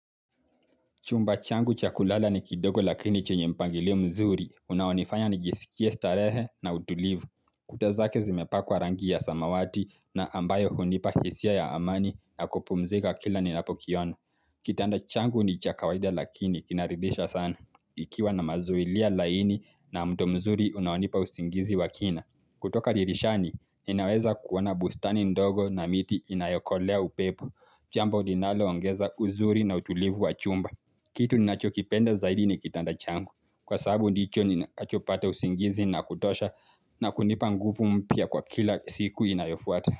Chumba changu cha kulala ni kidogo lakini chenye mpangilio mzuri. Unaonifanya nijisikie starehe na utulivu. Kuta zake zimepakwa rangi ya samawati na ambayo hunipa hisia ya amani na kupumzika kila ninapokiona. Kitanda changu ni cha kawaida lakini kinaridhisha sana. Ikiwa na mazuilia laini na muda mzuri unaonipa usingizi wa kina. Kutoka dirishani, inaweza kuona bustani ndogo na miti inayokolea upepo Jambo linaloongeza uzuri na utulivu wa chumba. Kitu ninachokipenda zaidi ni kitanda changu kwa sababu ndicho ninachopata usingizi na kutosha na kunipa nguvu mpya kwa kila siku inayofuata.